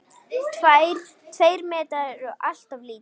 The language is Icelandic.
Tveir metrar eru alltof lítið.